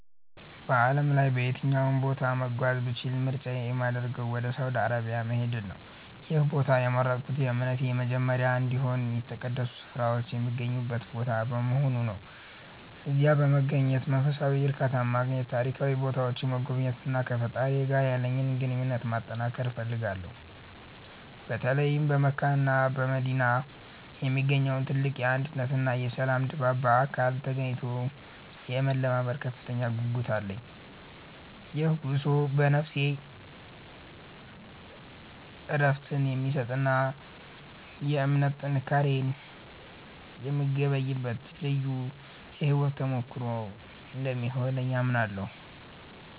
በዓለም ላይ በየትኛውም ቦታ መጓዝ ብችል ምርጫዬ የሚያደርገው ወደ ሳውዲ አረቢያ መሄድን ነው። ይህን ቦታ የመረጥኩት የእምነቴ መጀመሪያ እንዲሁም የተቀደሱ ስፍራዎች የሚገኙበት ቦታ በመሆኑ ነው። እዚያ በመገኘት መንፈሳዊ እርካታን ማግኘት፤ ታሪካዊ ቦታዎችን መጎብኘትና ከፈጣሪዬ ጋር ያለኝን ግንኙነት ማጠንከር እፈልጋለሁ። በተለይም በመካና በመዲና የሚገኘውን ትልቅ የአንድነትና የሰላም ድባብ በአካል ተገኝቶ የመለማመድ ከፍተኛ ጉጉት አለኝ። ይህ ጉዞ ለነፍሴ እረፍትን የሚሰጥና የእምነት ጥንካሬን የምገበይበት ልዩ የሕይወት ተሞክሮ እንደሚሆንልኝ አምናለሁ።